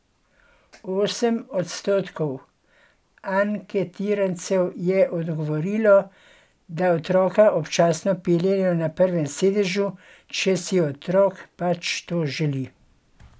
Osem odstotkov anketirancev je odgovorilo, da otroka občasno peljejo na prvem sedežu, če si otrok pač to želi.